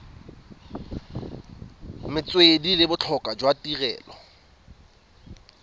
metswedi le botlhokwa jwa tirelo